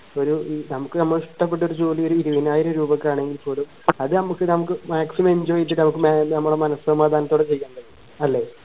ഒരു ഈ നമുക്ക് നമ്മളെ ഇഷ്ടപ്പെട്ട ഒരു ജോലി ഇരുവയ്നായിരം രൂപക്ക് ആണെങ്കിൽ പോലും അത് നമക് നമുക്ക് maximum enjoy നമക് നമ്മളെ മനഃസമാധാനത്തോടെ ചെയ്യാൻ പാട്ടും ല്ലേ